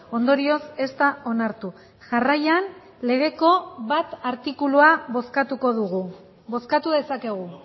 ondorioz ez da onartu jarraian legeko bat artikulua bozkatuko dugu bozkatu dezakegu